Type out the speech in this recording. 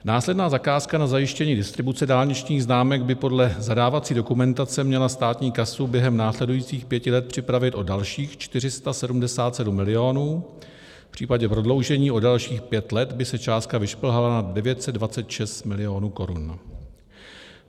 Následná zakázka na zajištění distribuce dálničních známek by podle zadávací dokumentace měla státní kasu během následujících pěti let připravit o dalších 477 milionů, v případě prodloužení o dalších pět let by se částka vyšplhala na 926 milionů korun.